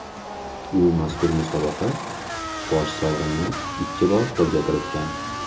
U mazkur musobaqa bosh sovrinini ikki bor qo‘lga kiritgan.